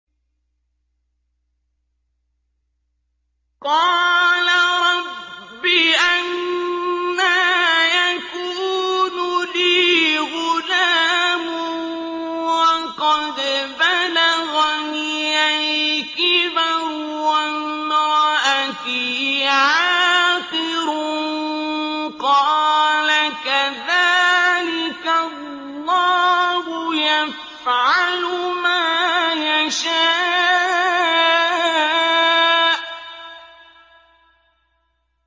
قَالَ رَبِّ أَنَّىٰ يَكُونُ لِي غُلَامٌ وَقَدْ بَلَغَنِيَ الْكِبَرُ وَامْرَأَتِي عَاقِرٌ ۖ قَالَ كَذَٰلِكَ اللَّهُ يَفْعَلُ مَا يَشَاءُ